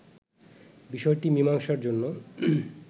বিষয়টি মীমাংসার জন্য